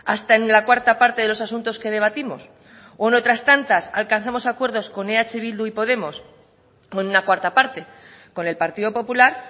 hasta en la cuarta parte de los asuntos que debatimos o en otras tantas alcanzamos acuerdos con eh bildu y podemos con una cuarta parte con el partido popular